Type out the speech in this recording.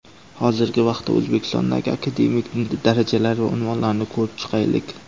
Hozirgi vaqtda O‘zbekistondagi akademik darajalar va unvonlarni ko‘rib chiqaylik.